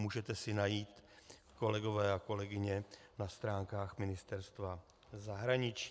Můžete si najít, kolegové a kolegyně, na stránkách Ministerstva zahraničí.